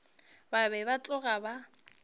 ba be ba tloga ba